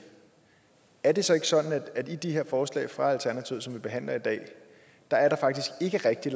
er det så ikke sådan at der i de her forslag fra alternativet som vi behandler i dag faktisk ikke rigtig